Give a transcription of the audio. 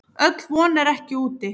Öll von er ekki úti.